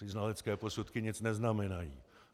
Ty znalecké posudky nic neznamenají.